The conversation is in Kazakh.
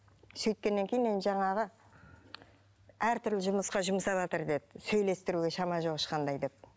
сөйткеннен кейін енді жаңағы әртүрлі жұмысқа жұмсаватыр деді сөйлестіруге шама жоқ ешқандай деп